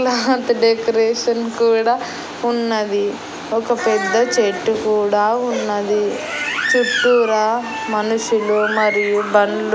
అహా అంత డెకరేషన్ కూడా ఉన్నది ఒక పెద్ద చెట్టు కూడా ఉన్నది చుట్టూరా మనుషులు మరియు బండ్లు--